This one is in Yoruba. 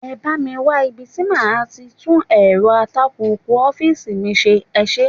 Ẹ bá mi wá ibi tí màá ti tún èrọ atakùkù ọ́fíìsì mi ṣe, ẹ ṣé.